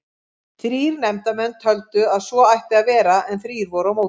Þrír nefndarmenn töldu að svo ætti að vera en þrír voru á móti.